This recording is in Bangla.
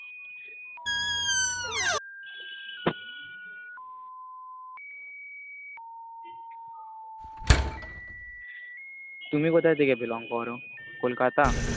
তুমি কোথা থেকে belong করো, Kolkata?